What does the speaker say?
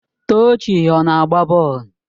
Tochi ọ na-agba bọọlụ?